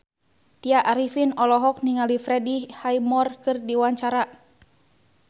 Tya Arifin olohok ningali Freddie Highmore keur diwawancara